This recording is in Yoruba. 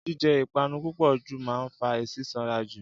jíjẹ ìpanu púpò jù máa ń fa sísanra jù